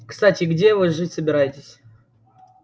кстати а где вы жить собираетесь